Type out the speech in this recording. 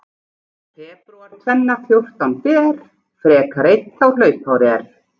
Febrúar tvenna fjórtán ber, frekar einn þá hlaupár er.